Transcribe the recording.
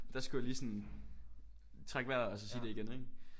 Der skulle jeg lige sådan trække vejret og så sige det igen ikke